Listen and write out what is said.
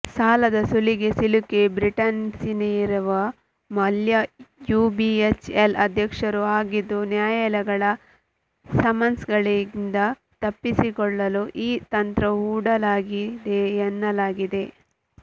ಸಾಲದ ಸುಳಿಗೆ ಸಿಲುಕಿ ಬ್ರಿಟನ್ಸೇರಿರುವ ಮಲ್ಯ ಯುಬಿಎಚ್ಎಲ್ ಅಧ್ಯಕ್ಷರೂ ಆಗಿದ್ದು ನ್ಯಾಯಾಲಯಗಳ ಸಮನ್ಸ್ಗಳಿಂದ ತಪ್ಪಿಸಿಕೊಳ್ಳಲು ಈ ತಂತ್ರ ಹೂಡಲಾಗಿದೆ ಎನ್ನಲಾಗಿದೆ